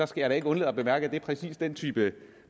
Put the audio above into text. skal da ikke undlade at bemærke at det er præcis den type